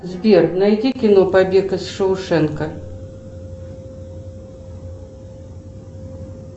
сбер найди кино побег из шоушенка